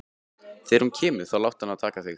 Þegar hún kemur þá láttu hana taka þig.